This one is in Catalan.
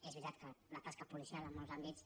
és veritat que la tasca policial en molts àmbits